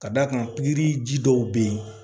Ka d'a kan pikiri ji dɔw bɛ yen